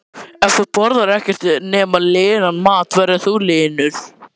Ég hefði miklu frekar átt að keyra beint í líkhúsið.